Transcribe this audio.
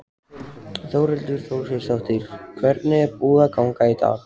Þórhildur Þorkelsdóttir: Hvernig er búið að ganga í dag?